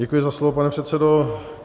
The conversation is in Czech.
Děkuji za slovo, pane předsedo.